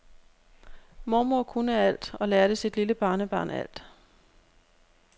Mormor kunne alt og lærte sit lille barnebarn alt.